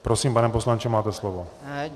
Prosím, pane poslanče, máte slovo.